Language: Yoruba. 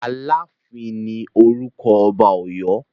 Aláàfin ní orúkọ ọba Ọ̀yọ́.